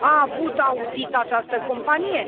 A avut audit această companie?